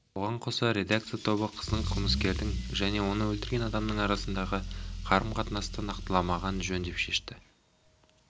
оған қоса редакция тобы қыздың қылмыскердің және оны өлтірген адамның арасындағы қарым-қатынастарды нақтыламаған жөн деп шешті